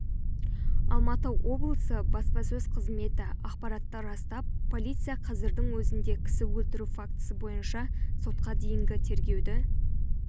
алматы облысы баспасөз қызметі ақпаратты растап полиция қазірдің өзінде кісі өлтіру фактісі бойынша сотқа дейінгі тергеуді